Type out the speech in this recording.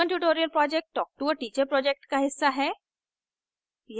spoken tutorial project talktoa teacher project का हिस्सा है